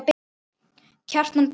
Kjartan Borg.